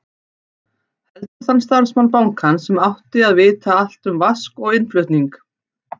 Heldur þann starfsmann bankans sem átti að vita allt um vask og innflutning.